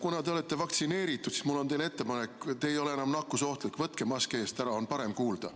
Kuna te olete vaktsineeritud, siis mul on teile ettepanek: te ei ole enam nakkusohtlik, võtke mask eest ära, on paremini kuulda.